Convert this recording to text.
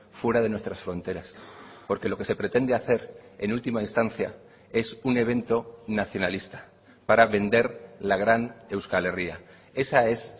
fuera de nuestras fronteras porque lo que se pretende hacer en última instancia es un evento nacionalista para vender la gran euskal herria esa es